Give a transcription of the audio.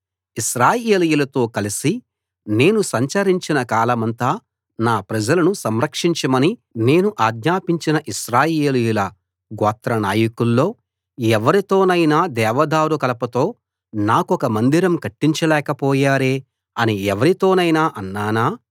ఇశ్రాయేలీయులతో కలసి నేను సంచరించిన కాలమంతా నా ప్రజలను సంరక్షించమని నేను ఆజ్ఞాపించిన ఇశ్రాయేలీయుల గోత్రా నాయకుల్లో ఎవ్వరితోనైనా దేవదారు కలపతో నాకొక మందిరం కట్టించలేకపోయారే అని ఎవ్వరితోనైనా అన్నానా